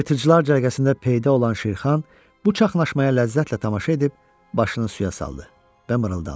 Yırtıcılar cərgəsində peyda olan Şirxan bu çaxnaşmaya ləzzətlə tamaşa edib başını suya saldı və mırıldandı.